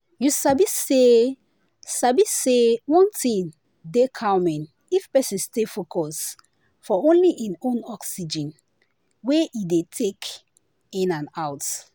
you sabi say sabi say one thing dey calming if person stay focus for only hin own oxygen wey e dey take in and out.